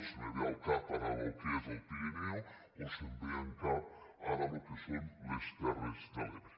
em ve al cap ara el que és el pirineu o em ve al cap ara el que són les terres de l’ebre